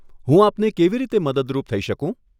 હું આપને કેવી રીતે મદદરૂપ થઇ શકું?